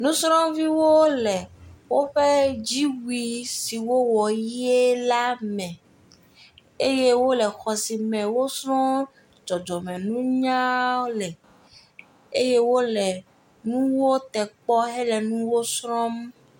Nusrɔ̃viwo le woƒe dziwui siwo wɔ ɣie la me, eye wole xɔsi me wosrɔ̃ dzɔdzɔme nunya le eye wole nuwo tekpɔ hele nuwo srɔ̃m.